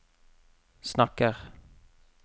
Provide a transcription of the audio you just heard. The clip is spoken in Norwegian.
snakker